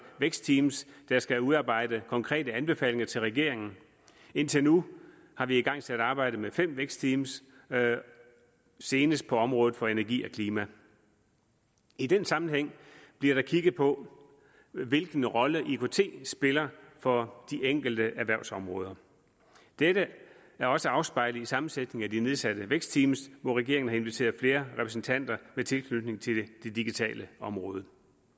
vækstteams der skal udarbejde konkrete anbefalinger til regeringen indtil nu har vi igangsat arbejdet med fem vækstteams senest på området for energi og klima i den sammenhæng bliver der kigget på hvilken rolle ikt spiller for de enkelte erhvervsområder dette er også afspejlet i sammensætningen af de nedsatte vækstteams hvor regeringen har inviteret flere repræsentanter med tilknytning til det digitale område